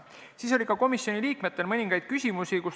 Siis oli ka komisjoni liikmetel mõningaid küsimusi.